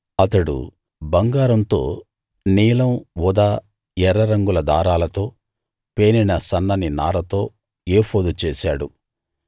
అతడు బంగారంతో నీలం ఊదా ఎర్ర రంగుల దారాలతో పేనిన సన్నని నారతో ఏఫోదు చేశాడు